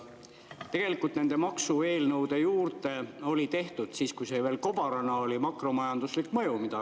Tegelikult nende maksueelnõude juurde oli tehtud siis, kui see veel kobarana oli, makromajanduslik mõju.